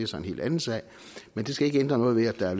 så en helt anden sag men det skal ikke ændre noget ved at der er